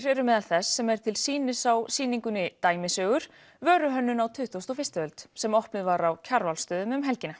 eru meðal þess sem er til sýnis á sýningunni dæmisögur vöruhönnun á tuttugustu og fyrstu öld sem opnuð var á Kjarvalsstöðum helgina